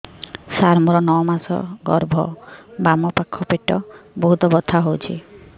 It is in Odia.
ସାର ମୋର ନଅ ମାସ ଗର୍ଭ ବାମପାଖ ପେଟ ବହୁତ ବଥା ହଉଚି